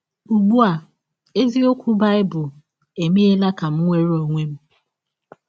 Ụgbụ a, eziọkwụ Baịbụl emeela ka m nwere ọnwe m!